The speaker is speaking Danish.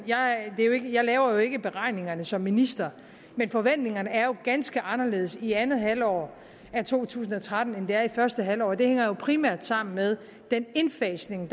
jeg jo ikke laver beregningerne som minister men forventningerne er ganske anderledes i andet halvår af to tusind og tretten end de er i første halvår det hænger jo primært sammen med den indfasning af